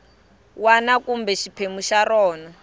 wana kumbe xiphemu xa rona